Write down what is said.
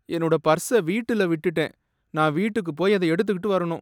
என்னோட பர்ஸை வீட்டுல விட்டுட்டேன். நான் வீட்டுக்குப் போயி அதை எடுத்துட்டு வரணும்.